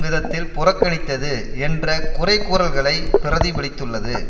விதத்தில் புறக்கணித்தது என்ற குறைகூறல்களை பிரதிபலித்துள்ளது